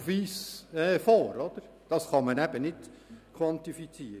Diese kann man eben nicht quantifizieren.